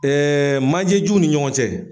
manje juw ni ɲɔgɔn cɛ